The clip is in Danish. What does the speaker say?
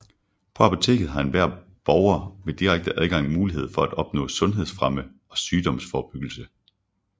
På apoteket har enhver borger ved direkte adgang mulighed for at opnå sundhedsfremme og sygdomsforebyggelse